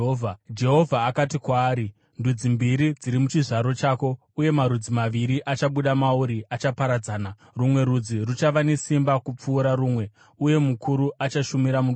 Jehovha akati kwaari, “Ndudzi mbiri dziri muchizvaro chako, uye marudzi maviri achabuda mauri achaparadzana; rumwe rudzi ruchava nesimba kupfuura rumwe, uye mukuru achashumira muduku.”